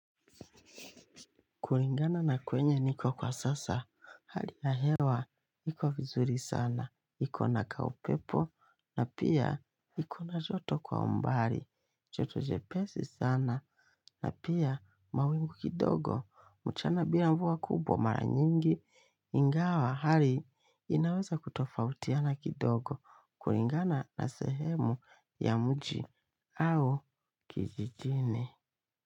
Kuringana na kwenye niko kwa sasa, hali ya hewa, iko vizuri sana, iko na kaupepo, na pia iko na joto kwa mbali, joto jepesi sana, na pia mawingu kidogo, mchana bila mvua kubwa mara nyingi, ingawa hali inaweza kutofautiana kidogo, kulingana na sehemu ya mji au kijijini.